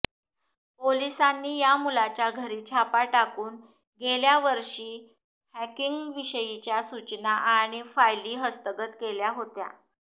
पोलिसांनी या मुलाच्या घरी छापा टाकून गेल्या वर्षी हॅकिंगविषयीच्या सूचना आणि फायली हस्तगत केल्या होत्या